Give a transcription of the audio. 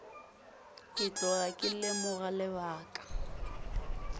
ke tloga ke lemoga lebaka